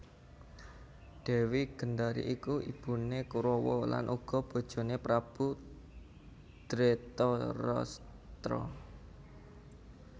Dèwi Gendari iku ibuné Korawa lan uga bojoné Prabu Dretarastra